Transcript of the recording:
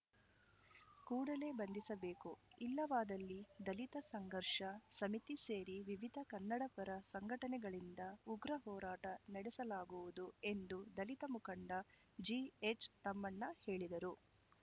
ಕೂಡಲೇ ಬಂಧಿಸಬೇಕು ಇಲ್ಲವಾದಲ್ಲಿ ದಲಿತ ಸಂಘರ್ಷ ಸಮಿತಿ ಸೇರಿ ವಿವಿಧ ಕನ್ನಡಪರ ಸಂಘಟನೆಗಳಿಂದ ಉಗ್ರ ಹೋರಾಟ ನಡೆಸಲಾಗುವುದು ಎಂದು ದಲಿತ ಮುಖಂಡ ಜಿಎಚ್‌ತಮ್ಮಣ್ಣ ಹೇಳಿದರು